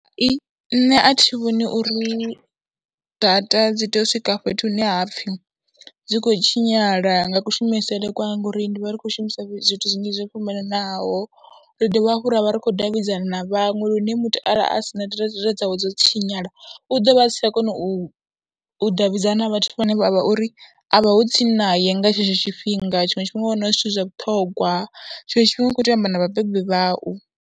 I, nṋe a thi vhoni uri data dzi tea u swika fhethu hune ha pfhi dzi khou tshinyala nga kushumisele kwanga ngauuri ndi vha ri khou shumisa zwithu zwinzhi zwo fhambananaho, ra dovha hafhu ra vha ri khou davhidzana na vhaṅwe lune muthu arali a si na data dzawe dzo tshinyala, u ḓo vha a sa tsha kona u u davhidzana na vhathu vhane vha vha uri a vhaho tsini naye nga tshetsho tshifhinga, tshiṅwe tshifhinga wa wana hu zwithu zwa vhuṱhongwa, tshiṅwe tshifhinga u khou tea u amba na vhabebi vhau.